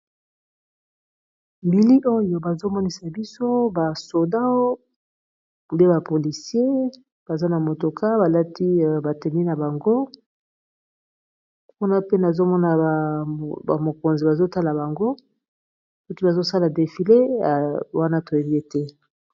Bilili oyo bazomonisa biso basoda mpe bapolisier baza na motoka balati batemi na bango kuna pe nazomona bamokonzi bazotala bango koki bazosala defile y wana toyebi ete.